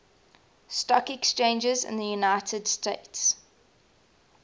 stock exchanges in the united states